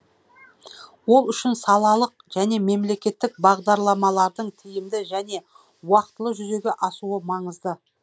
ол үшін салалық және мемлекеттік бағдарламалардың тиімді және уақытылы жүзеге асуы маңызды